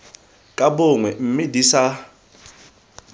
ka bongwe mme di sa